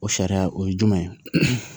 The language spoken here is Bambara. O sariya o ye jumɛn ye